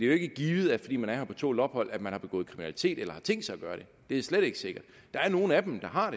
jo ikke givet at fordi man er her på tålt ophold har man begået kriminalitet eller tænkt sig at gøre det det er slet ikke sikkert der er nogle af dem der har